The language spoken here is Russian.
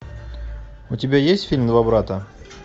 у тебя есть фильм два брата